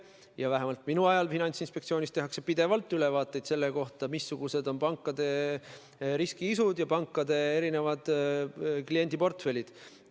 Ja vähemalt minu ajal tehakse Finantsinspektsioonis pidevalt ülevaateid selle kohta, missugune on pankade riskiisu ja millised on pankade kliendiportfellid.